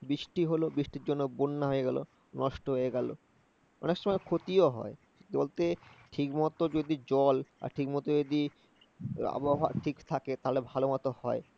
বৃষ্টি হলো, বৃষ্টির জন্য বন্যা হয়ে গেলো নষ্ট হয়ে গেলো। অনেক সময় ক্ষতিও হয়। বলতে ঠিকমত যদি জল আর ঠিকমত যদি আবহাওয়া ঠিক থাকে তাহলে ভালোমতো হয়